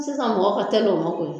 Sisan mɔgɔ ka tɛli o ma koyi